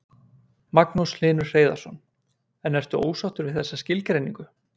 Magnús Hlynur Hreiðarsson: En ertu ósáttur við þessa skilgreiningu?